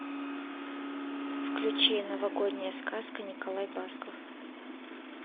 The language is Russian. включи новогодняя сказка николай басков